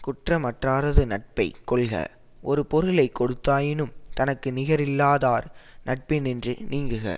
குற்றமற்றாரது நட்பை கொள்க ஒரு பொருளை கொடுத்தாயினும் தனக்கு நிகரில்லாதார் நட்பினின்று நீங்குக